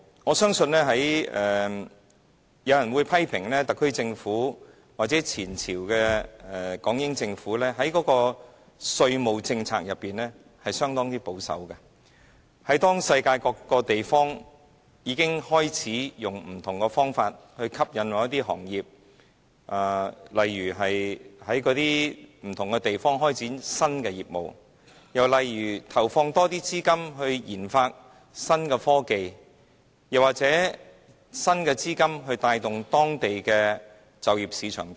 我相信有人會批評特區政府或前朝的港英政府在稅務政策上相當保守，因為世界各個地方已經開始以不同的方法來吸引某些行業，在當地不同的地方開展新的業務，又例如投放更多資金來研發新科技，或以新資金帶動當地的就業市場等。